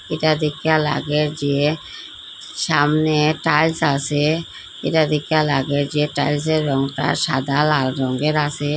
এটা দেখিয়া লাগে যে সামনে টাইলস আসে এটা দেখিয়া লাগে যে টাইলসের রংটা সাদা লাল রঙের আসে।